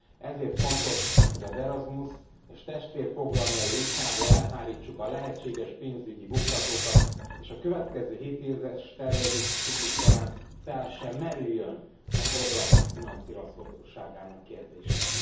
Ezért fontos, hogy az Erasmus és testvérprogramjai útjából elhárítsuk a lehetséges pénzügyi akadályokat, és a következő hétéves tervezési ciklus során fel se merüljön a programok finanszírozhatóságának kérdése.